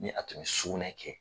Ni a tun bɛ sugunɛ kɛ.